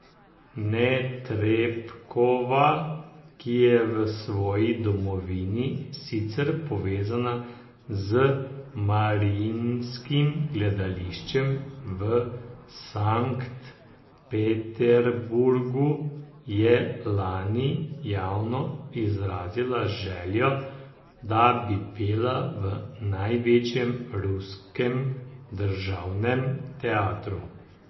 Netrebkova, ki je v svoji domovini sicer povezana z Mariinskim gledališčem v Sankt Peterburgu, je lani javno izrazila željo, da bi pela v največjem ruskem državnem teatru.